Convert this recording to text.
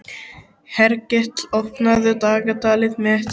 Hergill, opnaðu dagatalið mitt.